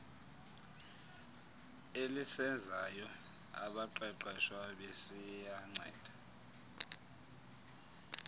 elisezayo abaqeqeshwa besiyanceda